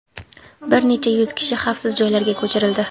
Bir necha yuz kishi xavfsiz joylarga ko‘chirildi.